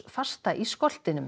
fasta í